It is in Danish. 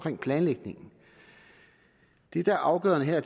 om planlægningen det der er afgørende her